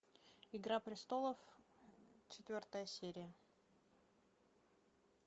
игра престолов четвертая серия